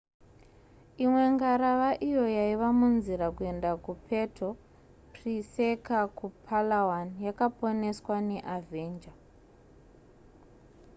imwe ngarava iyo yaiva munzira kuenda kupuerto pricesa kupalawan yakaponeswa neavenger